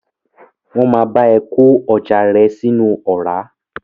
Wọ́n máa bá ẹ kó ọjà rẹ sínú ọ̀rá.